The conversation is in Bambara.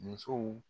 Musow